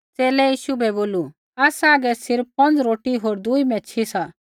च़ेले यीशु बै बोलू आसा हागै सिर्फ़ पौंज़ रोटी होर दूई मैच्छ़ी सी